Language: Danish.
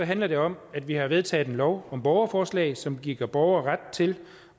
handler det om at vi har vedtaget en lov om borgerforslag som giver borgere ret til